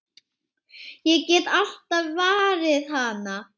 Ég get alltaf varið hana!